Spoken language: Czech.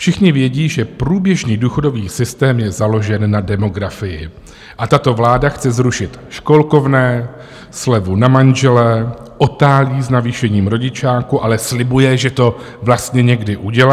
Všichni vědí, že průběžný důchodový systém je založen na demografii, a tato vláda chce zrušit školkovné, slevu na manžele, otálí s navýšením rodičáku, ale slibuje, že to vlastně někdy udělá.